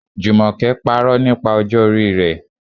Jumoke parọ́ nípa ọjọ́ orí rẹ̀.